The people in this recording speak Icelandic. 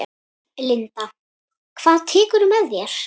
Linda: Hvað tekurðu með þér?